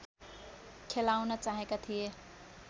खेलाउन चाहेका थिए